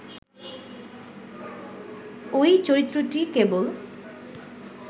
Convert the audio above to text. ঐ চরিত্রটি কেবল